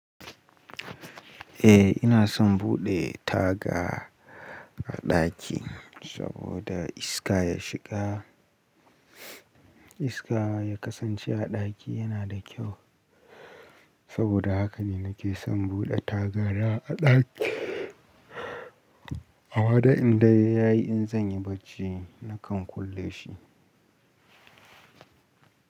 Eh ina son buɗe taga a ɗaki saboda iska ya shiga iska ya kasance a ɗaki yana da kyau saboda haka ne nake son buɗe tagara a ɗaki. Amma dai in dare yayi in zan yi bacci, nakan kulle shi.